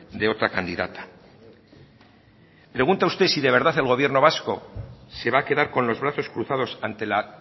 de otra candidata pregunta usted si de verdad el gobierno vasco se va a quedar con los brazos cruzados ante la